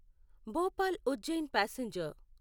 Bhopal Ujjain passenger